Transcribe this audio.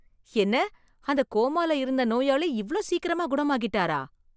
என்ன அந்த கோமால இருந்த நோயாளி இவ்ளோ சீக்கிரமா குணமாகிட்டாரா!